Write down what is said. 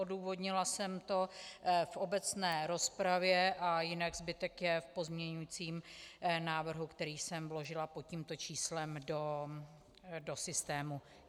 Odůvodnila jsem to v obecné rozpravě a jinak zbytek je v pozměňovacím návrhu, kterým jsem vložila pod tímto číslem do systému.